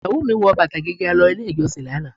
Ìyàwó mi wọ bàtà gíga lọ ilé ìjọsìn lánàá.